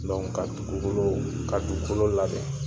ka dugukolo ka dugukolo labɛn